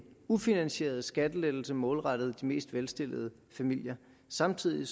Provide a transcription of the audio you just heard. ufinansieret skattelettelse målrettet de mest velstillede familier samtidig